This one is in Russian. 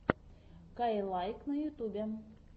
каилайк на ютьюбе